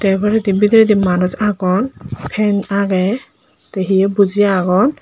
te baredi bidiredi manuj agon pen agey te hiye buji agon.